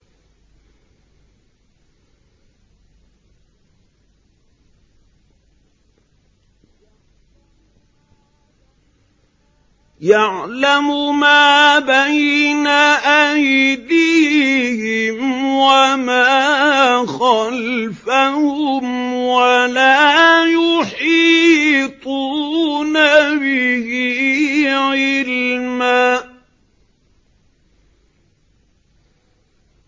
يَعْلَمُ مَا بَيْنَ أَيْدِيهِمْ وَمَا خَلْفَهُمْ وَلَا يُحِيطُونَ بِهِ عِلْمًا